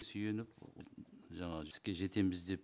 сүйеніп жаңа іске жетеміз деп